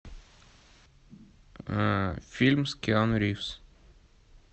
фильм с киану ривз